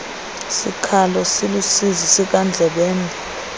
sikhalo siluusizi sikandlebende